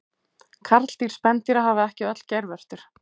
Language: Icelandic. Karldýr spendýra hafa ekki öll geirvörtur.